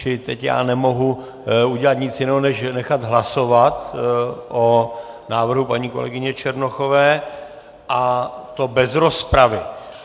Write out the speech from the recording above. Čili teď já nemohu udělat nic jiného než nechat hlasovat o návrhu paní kolegyně Černochové, a to bez rozpravy.